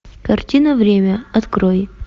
картина время открой